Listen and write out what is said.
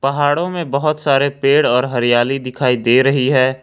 पहाड़ों में बहुत सारे पेड़ और हरियाली दिखाई दे रही है।